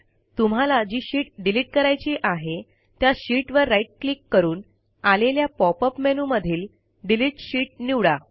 तुम्हाला जी sheet delete करायची आहे त्या शीटवर राईट क्लिक करून आलेल्या पॉपअप मेनूमधील डिलीट शीत निवडा